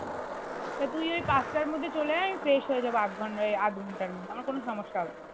সে তুই ওই পাঁচটার মধ্যে চলে আয় fresh হয়ে যাবো আধ ঘন্টায় আধ ঘন্টার মধ্যে আমার কোনো সমস্যা হবে না